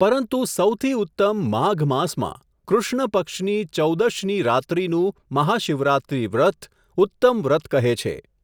પરંતુ સહુથી ઉત્તમ માઘ માસમાં, કૃષ્ણ પક્ષની ચૌદશની રાત્રીનું મહાશિવરાત્રી વ્રત ઉત્તમ વ્રત કહે છે.